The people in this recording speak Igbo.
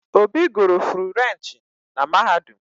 Obi guru Frurenchi na Mahadum